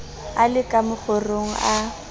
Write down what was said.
a le ka mokgorong a